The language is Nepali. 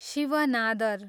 शिव नादर